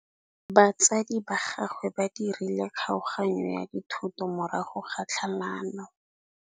Batsadi ba gagwe ba dirile kgaoganyô ya dithoto morago ga tlhalanô.